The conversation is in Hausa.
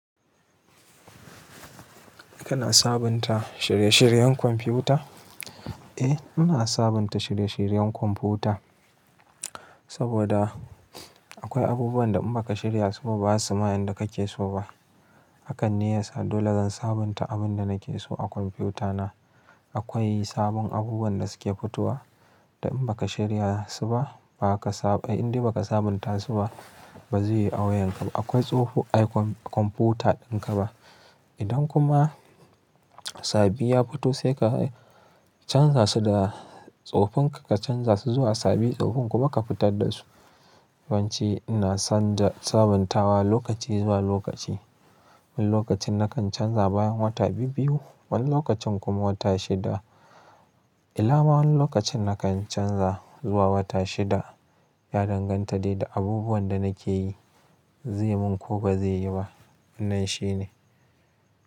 Kana sabunta shirye-shiryen kwamfuta? Eh, ina sabunta shirye-shiryen kwamfuta saboda akwai abubuwan da in baka shirya su ba, ba su ma yanda kake so ba. Hakan ne yasa dole zan sabunta abin da nake so a kwamfutana. Akwai sabon abubuwan da suke fitowa da in baka shirya su ba, ba ka sa-- indai ba ka sabunta su ba, bazai yi a wayanka ba. Akwai tsoho a kwamfuta dinka ba. Idan kuma sabbi ya fito sai ka canza su da tsofin ka, ka canza su zuwa sabibi, tsofin kuma ka fitar da su. Bance ina son sabuntawa lokaci zuwa lokaci. Wani lokacin nakan canza bayan wata biyu-biyu, wani lokacin kuma wata shida. Ilama wani lokacin nakan canza zuwa wata shida, ya danganta dai da abubuwan da nake yi zai mun ko ba zai yi ba. Nan shine.